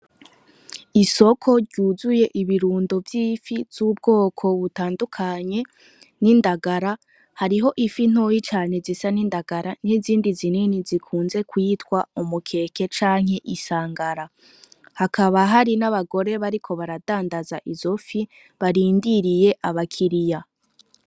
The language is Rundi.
Isoko ryuzuye ibirundo vy'ifi z'ubwoko butandukanye n'indagara. Hariho Ifi ntoya cane zisa n'indagara n'izindi zinini zikunzwe kwitwa umukeke canke isangala hakaba n'abagore bariko baradandaza izo fi barindiriye aba kiriya.